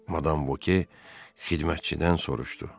Madam Voke xidmətçidən soruşdu.